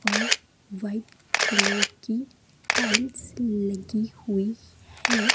और white colour की tiles लगी हुई है।